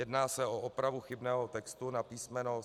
Jedná se o opravu chybného textu na písmeno.